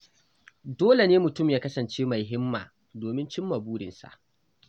Dole ne mutum ya kasance mai himma domin cimma burinsa.